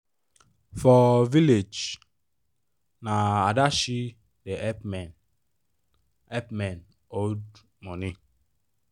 for village na adashi da help men help men hold money